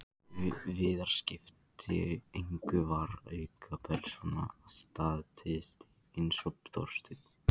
Viðar skipti engu, var aukapersóna, statisti, eins og Þorsteinn.